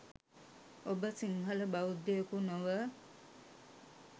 ඔබ සිංහල බෞද්ධයකු නොව